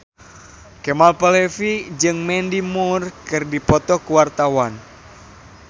Kemal Palevi jeung Mandy Moore keur dipoto ku wartawan